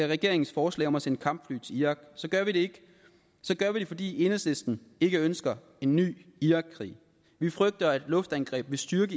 regeringens forslag om at sende kampfly til irak så gør vi det fordi enhedslisten ikke ønsker en ny irakkrig vi frygter at luftangreb vil styrke